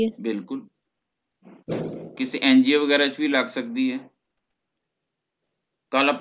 ਬਿਲਕੁਲ ਕਿਸੇ ਐਨਜੀਓ ਵਗੈਰਾ ਚ ਵੀ ਲੱਗ ਸਕਦੀ ਹੈ ਕਲ ਅੱਪਾ